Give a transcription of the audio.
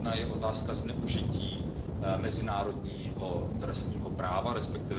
Jedna je otázka zneužití mezinárodního trestního práva, resp.